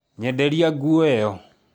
Nyenderia nguo ĩyo